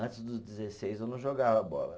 Antes dos dezesseis eu não jogava bola.